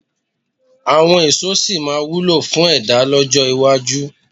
Àwọn èso sì máa wúlò fún ẹ̀dá lọ́jọ́ iwájú.